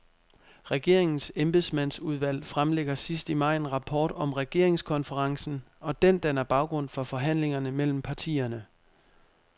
Regeringens embedsmandsudvalg fremlægger sidst i maj en rapport om regeringskonferencen, og den danner baggrund for forhandlingerne mellem partierne.